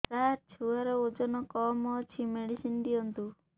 ସାର ଛୁଆର ଓଜନ କମ ଅଛି ମେଡିସିନ ଦିଅନ୍ତୁ